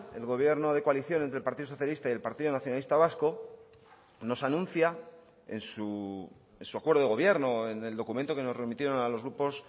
el gobierno de coalición entre el partido socialista y el partido nacionalista vasco nos anuncia en su acuerdo de gobierno en el documento que nos remitieron a los grupos